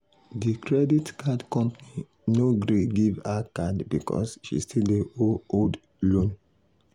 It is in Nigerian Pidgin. di credit card company no gree give her card because she still dey owe old loan.